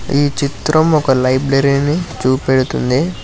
ఈ చిత్రం ఒక లైబ్రరీని చూపెడుతుంది.